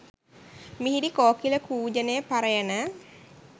මිහිරි කෝකිල කූජනය පරයන